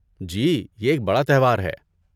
جی، یہ ایک بڑا تہوار ہے۔